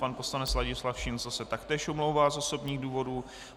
Pan poslanec Ladislav Šincl se taktéž omlouvá z osobních důvodů.